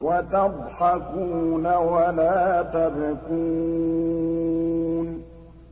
وَتَضْحَكُونَ وَلَا تَبْكُونَ